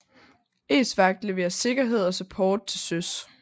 ESVAGT leverer sikkerhed og support til søs